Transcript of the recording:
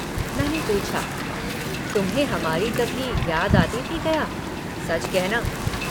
मैंने पूछा तुम्हें हमारी कभी याद आती थी गया सच कहना।